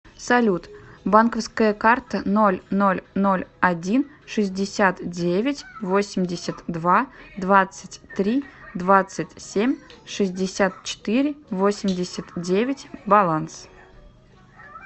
салют банковская карта ноль ноль ноль один шестьдесят девять восемьдесят два двадцать три двадцать семь шестьдесят четыре восемьдесят девять баланс